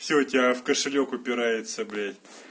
всё у тебя в кошелёк упирается блять